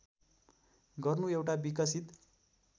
गर्नु एउटा विकसित